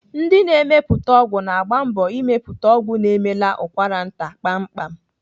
Ndị na-emepụta ọgwụ na-agba mbọ ịmepụta ọgwụ na-emela ụkwaranta kpamkpam.